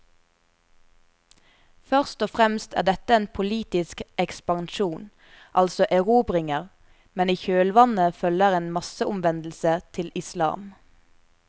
Først og fremst er dette en politisk ekspansjon, altså erobringer, men i kjølvannet følger en masseomvendelse til islam.